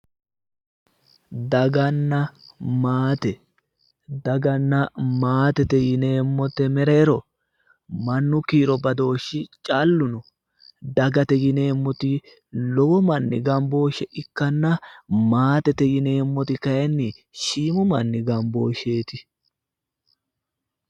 Daganna maate daganna maatete yineemmote mereero mannu kiiro badooshi callu no dagate yineemmoti lowo manni gambooshe ikkanna maatete yineemmoti kayinni shiimu manni gamboosheeti